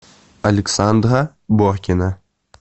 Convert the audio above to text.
александра боркина